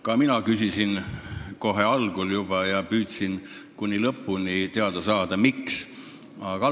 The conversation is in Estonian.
Ka mina küsisin seda kohe algul ja püüdsin kuni lõpuni teada saada, miks nii.